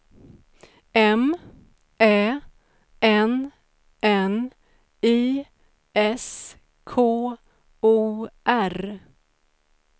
M Ä N N I S K O R